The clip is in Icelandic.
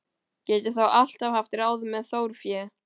Get ég þó alltaf haft ráð með þjórfé.